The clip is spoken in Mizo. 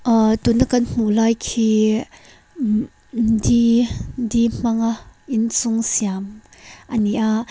ahh tuna kan hmuh lai khi mmm mm di di hmanga inchung siam a ni a.